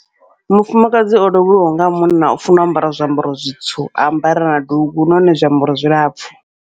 Mufumakadzi o lovheliwa nga munna u funa ambara zwiambaro zwitsu, a ambara na dugu nahone zwiambaro zwilapfhu.